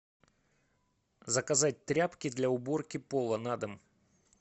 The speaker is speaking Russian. заказать тряпки для уборки пола на дом